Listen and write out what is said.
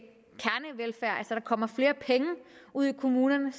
der kommer flere penge ud i kommunerne